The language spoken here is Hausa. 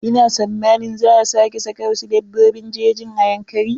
Ina sammanin za a sake saka wasu dabbobin jejin a Yankari.